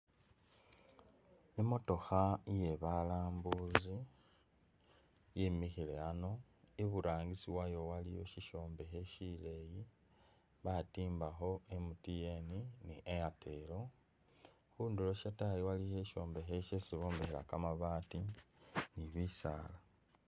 Imotoka iye balambuzi yimikhile ano, iburangisi wayo waliyo ishombekhe shileyi batimbakho MTN ni Airtel ,khunduro shatayi waliyo ishombekhe shesi bombekhela kamabati ni bisala.